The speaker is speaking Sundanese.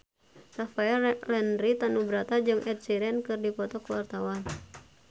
Rafael Landry Tanubrata jeung Ed Sheeran keur dipoto ku wartawan